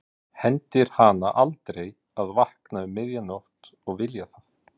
Hendir hana aldrei að vakna upp um miðja nótt og vilja það.